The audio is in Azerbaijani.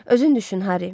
Özün düşün, Harry.